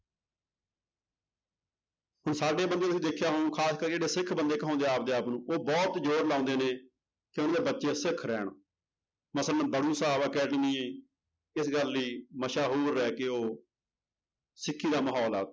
ਹੁਣ ਸਾਡੇ ਬੰਦੇ ਤੁਸੀ ਦੇਖਿਆ ਹੁਣ ਖ਼ਾਸ ਕਰ ਜਿਹੜੇ ਸਿੱਖ ਬੰਦੇ ਕਹਾਉਂਦੇ ਆ ਆਪਦੇ ਆਪ ਨੂੰ ਉਹ ਬਹੁਤ ਜ਼ੋਰ ਲਾਉਂਦੇ ਨੇ ਸਿੱਖ ਰਹਿਣ ਇਸ ਗੱਲ ਲਈ ਮਸ਼ਹੂਰ ਹੈ ਕਿ ਉਹ ਸਿੱਖੀ ਦਾ ਮਾਹੌਲ ਆ